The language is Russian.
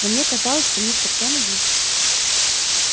но мне казалось что мистер кеннеди